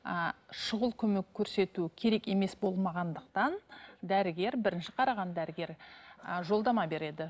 ыыы шұғыл көмек көрсету керек емес болмағандықтан дәрігер бірінші қараған дәрігер і жолдама береді